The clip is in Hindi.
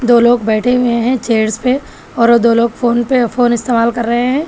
दो लोग बैठे हुए हैं चेयर पे और वो दो लोग फोन पे फोन इस्तेमाल कर रहे हैं।